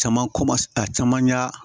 Caman kɔmase a caman y'a